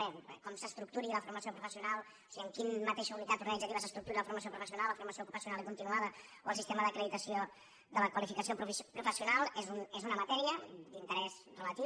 bé com s’estructuri la formació professional o sigui en quina mateixa unitat organitzativa s’estructuri la formació professional la formació ocupacional i continuada o el sistema d’acreditació de la qualificació professional és una matèria d’interès relatiu